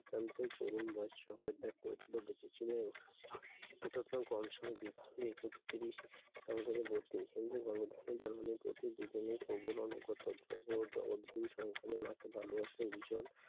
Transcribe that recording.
এই পর্যন্ত তরুণ বয়সে সংসার ত্যাগ করেছিল। এত কম সময় বিয়ে বিয়ে করতে গিয়েছিল দুজনেই প্রভুর আনুগত্য জগৎ ও জগৎগুরু সম্পূর্ণ মাকে ভালোবাসতো ভীষণ